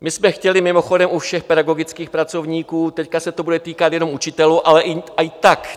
My jsme chtěli mimochodem u všech pedagogických pracovníků, teď se to bude týkat jenom učitelů, ale i tak.